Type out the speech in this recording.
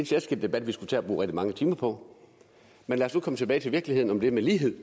særskilt debat vi skulle tage at bruge rigtig mange timer på men lad os nu komme tilbage til virkeligheden om det med lighed